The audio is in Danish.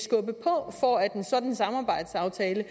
og at en sådan samarbejdsaftale